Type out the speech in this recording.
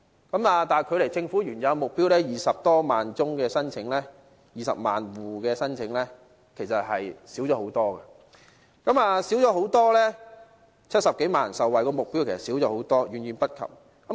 但是，距離政府原有20萬戶可受惠的目標，其實少了很多，距離70多萬人可受惠的目標，也少了很多，遠遠不及。